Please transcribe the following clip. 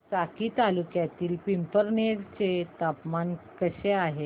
साक्री तालुक्यातील पिंपळनेर चे तापमान कसे आहे